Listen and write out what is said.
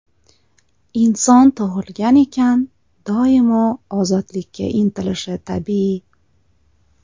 Inson tug‘ilgan ekan, doimo ozodlikka intilishi tabiiy.